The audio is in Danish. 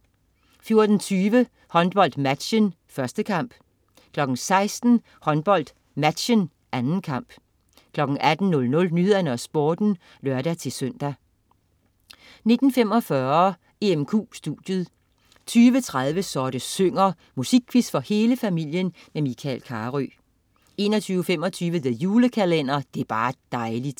14.20 HåndboldMatchen. 1. kamp 16.00 HåndboldMatchen. 2. kamp 18.00 Nyhederne og Sporten (lør-søn) 19.45 EMQ studiet 20.30 Så det synger. Musikquiz for hele familien med Michael Carøe 21.25 The Julekalender. Det er bar' dejli'